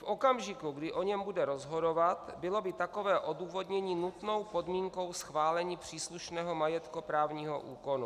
V okamžiku, kdy o něm bude rozhodovat, bylo by takové odůvodnění nutnou podmínkou schválení příslušného majetkoprávního úkonu?